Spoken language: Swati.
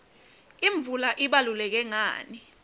imvula ibaluleke ngani